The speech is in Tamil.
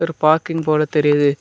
ஒரு பார்க்கிங் போல தெரியிது.